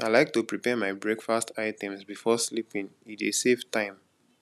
i like to prepare my breakfast items before sleeping e dey save time